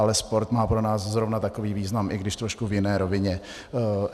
Ale sport má pro nás zrovna takový význam, i když trošku v jiné rovině.